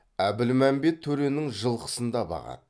әбілмәмбет төренің жылқысын да бағады